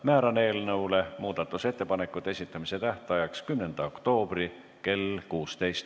Määran eelnõu muudatusettepanekute esitamise tähtajaks 10. oktoobri kell 16.